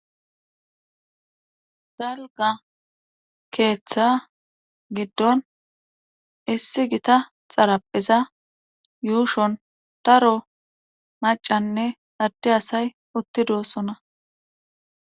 Dalgga keetha giddon issi gta xarapheza yuushon daro maccanne adde asay utti doosona.